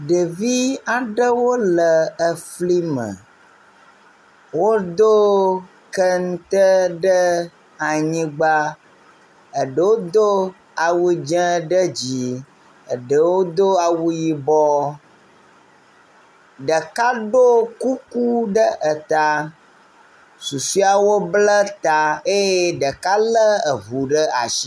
Ɖevi aɖewo le efli me, wodo kente ɖe anyigba, eɖewo do awu dze ɖe dzi, eɖewo do awu yibɔ, ɖeka ɖo kuku ɖe eta, susɔeawo bla ta eye ɖeka lé eŋu ɖe asi.